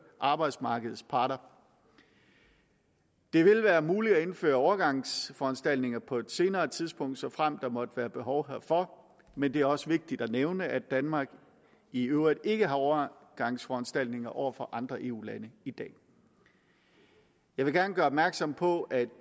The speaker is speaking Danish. arbejdsmarkedets parter det vil være muligt at indføre overgangsforanstaltninger på et senere tidspunkt såfremt der måtte være behov herfor men det er også vigtigt at nævne at danmark i øvrigt ikke har overgangsforanstaltninger over for andre eu lande i dag jeg vil gerne gøre opmærksom på at